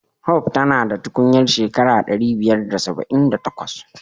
Hope ta na da tukunyar shekara dari biyar da saba'in da takwas.